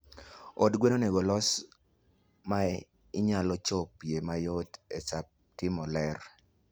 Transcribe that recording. Od gwen onegolos mainyalo chopie mayot e saa timo lerr.